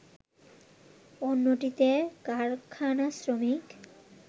অন্যটিতে কারখানা শ্রমিক